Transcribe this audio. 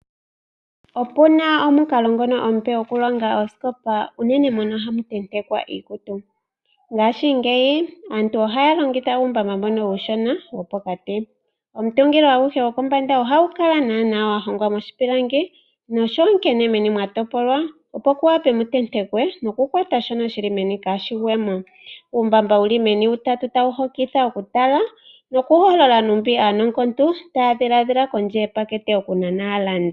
Opuna omukalo ngono omupe gokulonga osikopa yoku tetekwa iikutu .mongashingeyi aantu ohaya longitha uumbamba mbono uushona wopokati. omutungilo aguhe gokombanda oha gukala gwa hongwa moshi pilangi , nomeni ohamukala mwa topolwa opo mu wape mu tentekwe nokukwatha shoka shili meni opo kashi gwemo . Uumbamba wuli meni utatu ta wu hokitha okutala noku holola nkene aanongontu taya dhiladhila kondje yepakete okunana aalandi.